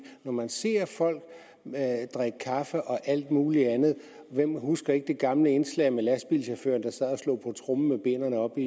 når man ser folk drikke kaffe og alt muligt andet hvem husker ikke det gamle indslag med lastbilchaufføren der sad og slog på tromme med benene oppe